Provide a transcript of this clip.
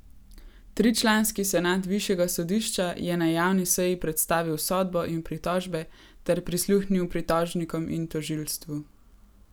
Tričlanski senat višjega sodišča je na javni seji predstavil sodbo in pritožbe ter prisluhnil pritožnikom in tožilstvu.